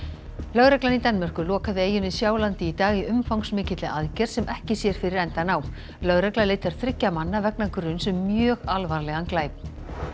lögreglan í Danmörku lokaði eyjunni Sjálandi í dag í umfangsmikilli aðgerð sem ekki sér fyrir endann á lögregla leitar þriggja manna vegna gruns um mjög alvarlegan glæp